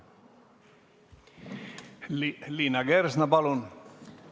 Liina Kersna, palun!